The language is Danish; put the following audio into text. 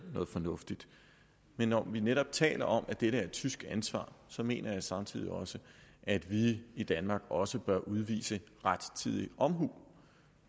noget fornuftigt men når vi netop taler om at dette er et tysk ansvar mener jeg samtidig at vi i danmark også bør udvise rettidig omhu